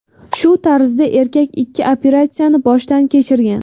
Shu tarzda erkak ikki operatsiyani boshdan kechirgan.